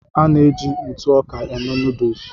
A na-eji ntụ ọka eme nuduls.